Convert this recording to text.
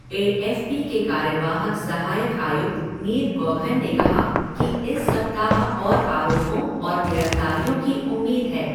ए F P के कार्यवाहक सहायक आयुक्त नील गौघन ने कहा कि इस सप्ताह और आरोपों और गिरफ्तारियों की उम्मीद है।